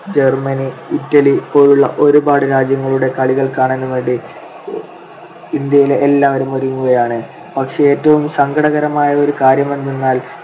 Germany, Italy പോലുള്ള ഒരുപാട് രാജ്യങ്ങളുടെ കളികൾ കാണാൻ വേണ്ടി ഇന്ത്യയിലെ എല്ലാവരും ഒരുങ്ങുകയാണ്. പക്ഷെ ഏറ്റവും സങ്കടകരമായ ഒരു കാര്യമെന്തെന്നാൽ